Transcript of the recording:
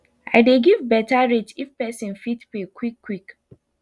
i dey give better rate if person fit pay quick quick